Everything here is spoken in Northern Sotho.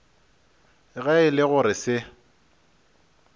ge e le gore se